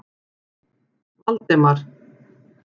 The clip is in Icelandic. Valdemar